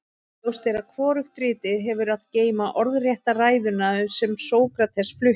ljóst er að hvorugt ritið hefur að geyma orðrétta ræðuna sem sókrates flutti